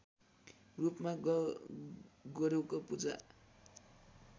रूपमा गोरुको पूजा